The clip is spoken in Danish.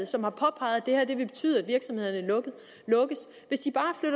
som har påpeget at det her vil betyde at virksomhederne lukker